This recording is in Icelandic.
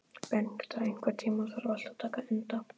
Bengta, einhvern tímann þarf allt að taka enda.